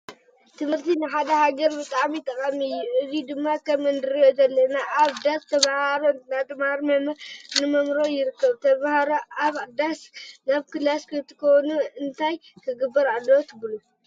ትምህረቲ ንሓደ ሃገር ብጣዕሚ ጠቃሚ እዩ። አብዚ ድማ ከም እንሪኦ ዘለና አብ ዳስ ተማሃሮ እናተመሃሩ መምህር እናመህሮም ይርከብ። ተመሃሮ ካበ ዳስ ናብ ክላስ ንክኮኑ እነታይ ክግበር አለዎ ትቡሉ?